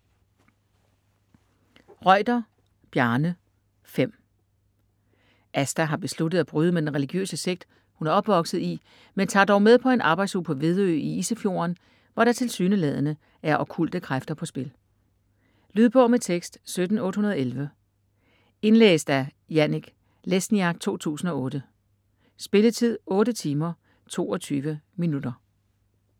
Reuter, Bjarne: Fem Asta har besluttet at bryde med den religiøse sekt, hun er opvokset i, men tager dog med på en arbejdsuge på Vedø i Isefjorden, hvor der tilsyneladende er okkulte kræfter på spil. Lydbog med tekst 17811 Indlæst af Janek Lesniak, 2008. Spilletid: 8 timer, 22 minutter.